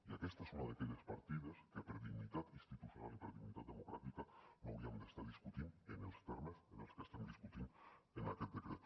i aquesta és una d’aquelles partides que per dignitat institucional i per dignitat democràtica no hauríem d’estar discutint en els termes en els que l’estem discutint en aquest decret